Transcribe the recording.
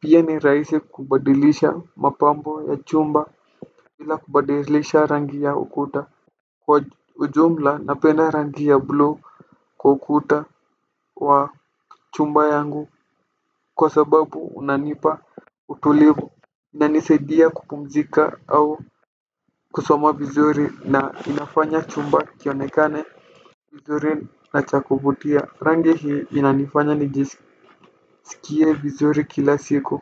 Pia ni rahisi kubadilisha mapambo ya chumba bila kubadilisha rangi ya ukuta. Kwa ujumla napenda rangi ya bluu kwa ukuta wa chumba yangu kwa sababu unanipa utulivu. Inanisaidia kupumzika au kusoma vizuri na inafanya chumba kionekane kizuri na cha kuvutia rangi hii inanifanya nijiskie vizuri kila siku.